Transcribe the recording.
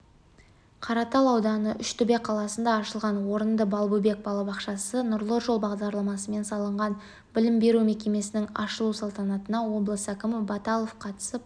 қаратал ауданы үштөбе қаласында ашылған орынды балбөбек балабақшасы нұрлы жол бағдарламасымен салынған білім беру мекемесінің ашылу салтанатына облыс әкімі баталов қатысып